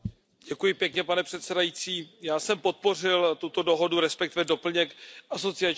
Pane předsedající, já jsem podpořil tuto dohodu, respektive doplněk asociační dohody.